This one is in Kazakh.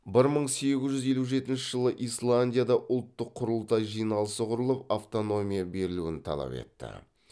бір мың сегіз жүз елу жетінші жылы исландияда ұлттық құрылтай жиналысы құрылып автономия берілуін талап етті